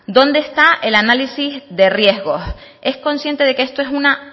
dónde está el análisis de riesgo es consciente de que esto es una